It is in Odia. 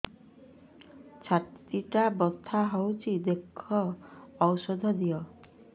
ଛାତି ଟା ବଥା ହଉଚି ଦେଖ ଔଷଧ ଦିଅ